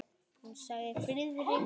Hún sagði: Friðrik minn!